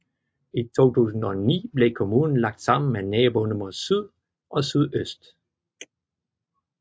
I 2009 blev kommunen lagt sammen med naboerne mod syd og sydøst